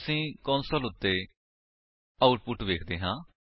ਅਸੀ ਕੰਸੋਲ ਉੱਤੇ ਆਉਟਪੁਟ ਵੇਖਦੇ ਹਾਂ